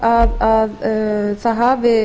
að þessari athugasemd hafi